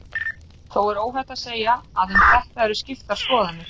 Þó er óhætt að segja að um þetta eru skiptar skoðanir.